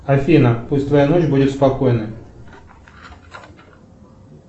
афина пусть твоя ночь будет спокойной